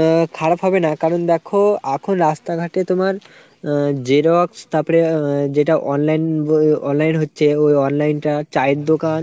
আহ খারাপ হবে না কারণ দ্যাখো আখন রাস্তাঘাটে তোমার উম Xerox তারপরে উম যেটা online উম online হচ্ছে ওই online টা, চায়ের দোকান